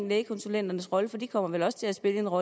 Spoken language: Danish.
lægekonsulenternes rolle for de kommer vel også til at spille en rolle